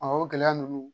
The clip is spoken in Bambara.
o gɛlɛya ninnu